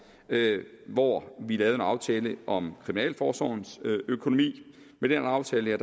hvor vi altså lavede en aftale om kriminalforsorgens økonomi med den aftale